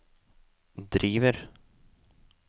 driver